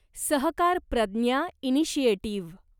सहकार प्रज्ञा इनिशिएटिव्ह